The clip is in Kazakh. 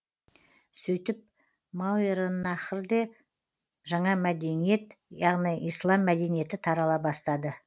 сөйтіп мауераннахрде жаңа мәдениет яғни ислам мәдениеті тарала бастады